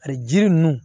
Ani jiri ninnu